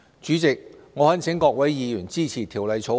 主席，我懇請各位議員支持《條例草案》。